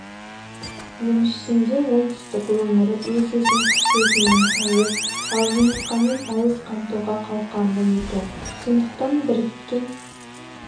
еншісінде оңтүстік өңірі өз-өзін құс етімен пайыз ал жұмыртқамен пайыз қамтуға қауқарлы екен сондықтан біріккен